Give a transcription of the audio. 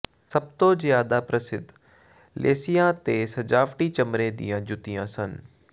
ਸਭ ਤੋਂ ਜ਼ਿਆਦਾ ਪ੍ਰਸਿੱਧ ਲੇਸਿਆਂ ਤੇ ਸਜਾਵਟੀ ਚਮੜੇ ਦੀਆਂ ਜੁੱਤੀਆਂ ਸਨ